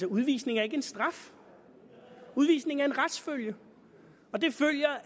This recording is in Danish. udvisning er ikke en straf udvisning er en retsfølge og det følger